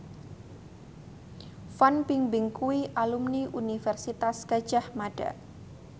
Fan Bingbing kuwi alumni Universitas Gadjah Mada